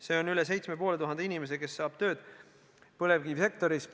Seega üle 7500 inimese saab tööd põlevkivisektoris.